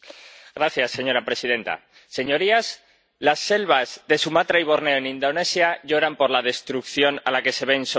Señora presidenta, señorías, las selvas de Sumatra y Borneo en Indonesia lloran por la destrucción a la que se ven sometidas.